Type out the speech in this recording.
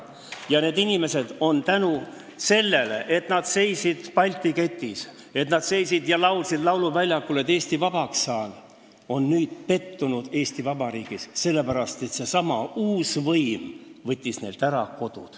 Ja need inimesed, kes samuti seisid Balti ketis ja laulsid lauluväljakul, et Eesti vabaks saada, on nüüd pettunud Eesti Vabariigis, sellepärast et see uus võim võttis neilt ära nende kodu.